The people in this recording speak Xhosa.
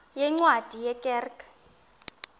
yeencwadi ye kerk